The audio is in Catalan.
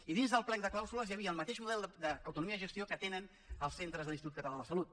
i dins del plec de clàusules hi havia el mateix model d’autonomia de gestió que tenen els centres de l’institut català de la salut